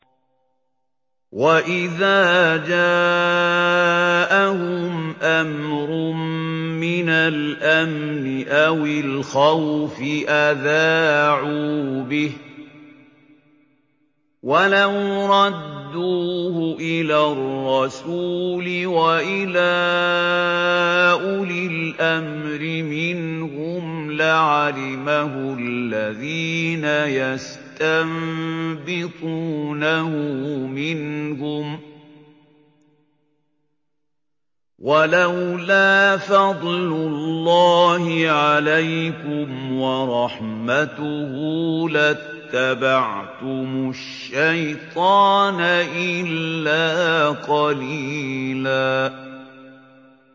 وَإِذَا جَاءَهُمْ أَمْرٌ مِّنَ الْأَمْنِ أَوِ الْخَوْفِ أَذَاعُوا بِهِ ۖ وَلَوْ رَدُّوهُ إِلَى الرَّسُولِ وَإِلَىٰ أُولِي الْأَمْرِ مِنْهُمْ لَعَلِمَهُ الَّذِينَ يَسْتَنبِطُونَهُ مِنْهُمْ ۗ وَلَوْلَا فَضْلُ اللَّهِ عَلَيْكُمْ وَرَحْمَتُهُ لَاتَّبَعْتُمُ الشَّيْطَانَ إِلَّا قَلِيلًا